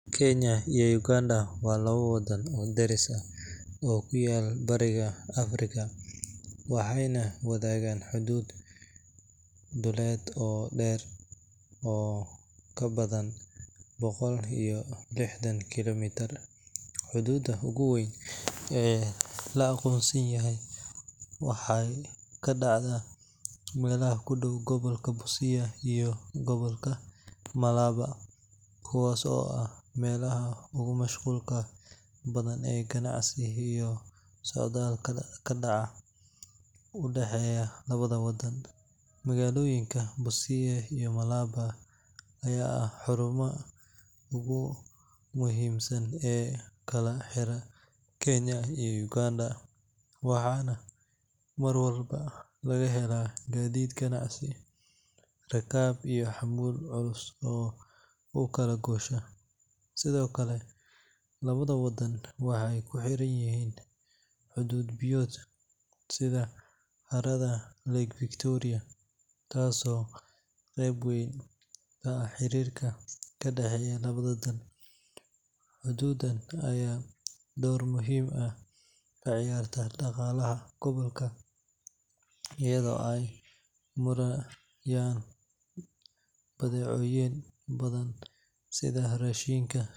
Kenya iyo Uganda waa laba wadan oo daris ah oo ku yaalla Bariga Afrika, waxayna wadaagaan xuduud dhuleed oo dheer oo ka badan boqol iyo lixdan kiilomitir. Xuduudda ugu weyn ee la aqoonsan yahay waxay ka dhacdaa meelaha ku dhow gobolka Busia iyo gobolka Malaba, kuwaas oo ah meelaha ugu mashquulka badan ee ganacsi iyo socdaal ka dhaca u dhexeeya labada wadan. Magaalooyinka Busia iyo Malaba ayaa ah xarumaha ugu muhiimsan ee kala xira Kenya iyo Uganda, waxaana mar walba laga helaa gaadiid ganacsi, rakaab iyo xamuul culus oo u kala goosha. Sidoo kale, labada wadan waxay ku xiran yihiin xuduud biyood, sida harada Lake Victoria, taasoo qeyb weyn ka ah xiriirka ka dhexeeya labada dal. Xuduuddan ayaa door muhiim ah ka ciyaarta dhaqaalaha gobolka, iyadoo ay marayaan badeecooyin badan sida raashinka.